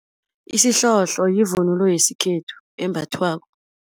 Isihlohlo yivunulo yesikhethu embathwako.